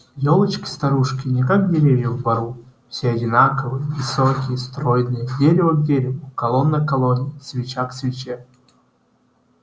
елочки-старушки не как деревья в бору все одинаковые высокие стройные дерево к дереву колонна к колонне свеча к свече